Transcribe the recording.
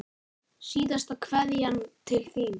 Síðasta kveðja til þín.